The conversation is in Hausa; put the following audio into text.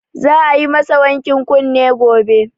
Za a yi ma sa wankin kunne gobe